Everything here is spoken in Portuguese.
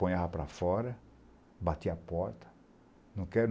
Ponhava para fora, batia a porta.